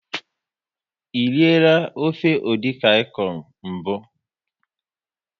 E riela ofe edikaikong mbụ?